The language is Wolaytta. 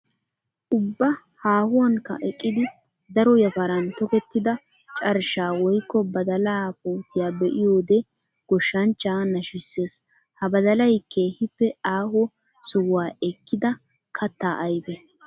Ubba haahuwankka eqqiddi daro yafaran tokkettidda carshsha woykko badalla puutiya be'iyoode goshshanchcha nashisees. Ha badallay keehippe aaho sohuwa ekkidda katta ayfe.